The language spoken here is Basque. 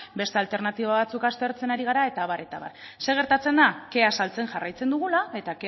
beste alternatiba batzuk aztertzen ari gara eta abar eta abar zer gertatzen da kea saltzen jarraitzen dugula eta